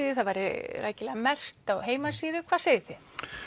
því það væri rækilega merkt á heimasíðu hvað segið þið